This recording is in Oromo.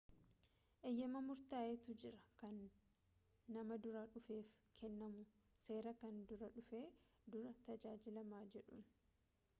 eyyamaa murtaa'etu jira kan namaa duraa dhufeef kennamu seera kan duraa dhufee duraa tajaajilamaa jedhuun